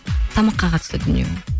тамаққа қатысты дүние ғой